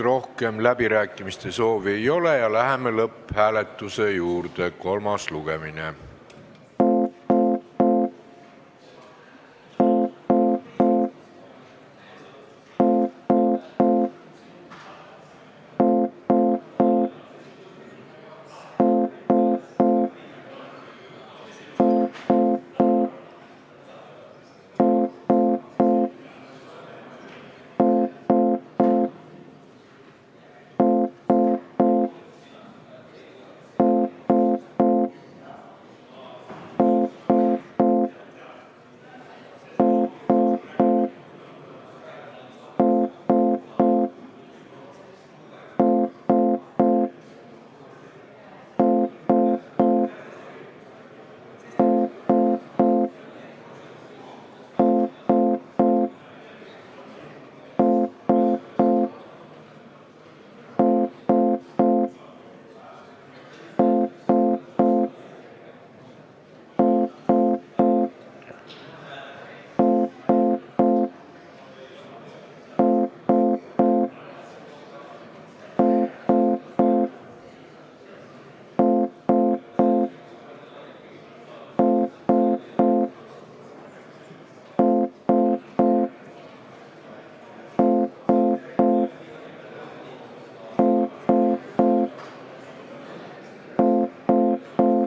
Rohkem läbirääkimiste soovi ei ole ja läheme lõpphääletuse juurde.